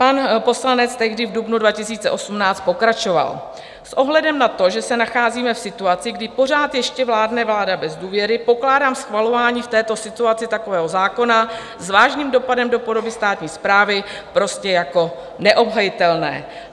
Pan poslanec tehdy v dubnu 2018 pokračoval: "S ohledem na to, že se nacházíme v situaci, kdy pořád ještě vládne vláda bez důvěry, pokládám schvalování v této situaci takového zákona s vážným dopadem do podoby státní správy prostě jako neobhajitelné.